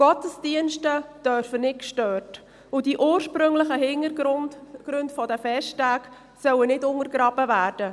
Gottesdienste dürfen nicht gestört und die ursprünglichen Hintergründe der Festtage sollen nicht untergraben werden.